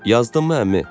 Yazdınmı əmi?